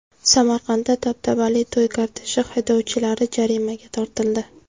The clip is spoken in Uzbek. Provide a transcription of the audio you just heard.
Samarqandda dabdabali to‘y korteji haydovchilari jarimaga tortildi .